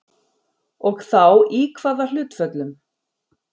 Og þá í kvaða hlutföllum?